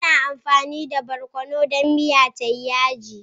Muna amfani da Barkonu dan miya tayi Yaji.